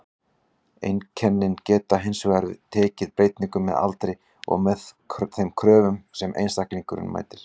Einkennin geta hins vegar tekið breytingum með aldri og með þeim kröfum sem einstaklingurinn mætir.